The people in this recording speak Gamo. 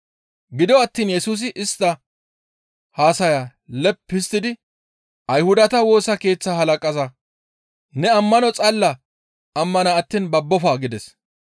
Gido attiin Yesusi istta haasayaa leppi histtidi Ayhudata Woosa Keeththaa halaqaza, «Ne ammano xalla ammana attiin babbofa!» gides.